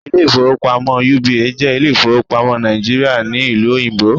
Ilé ìfowópamọ́ UBA jẹ́ Ilé ìfowópamọ́ Nàìjíríà ní Ìlú Òyìnbó